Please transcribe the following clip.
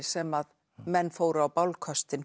sem menn fóru á